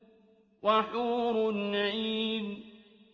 وَحُورٌ عِينٌ